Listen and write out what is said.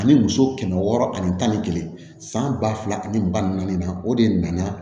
Ani muso kɛmɛ wɔɔrɔ ani tan ni kelen san ba fila ani ba naani na o de nana